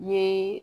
N ye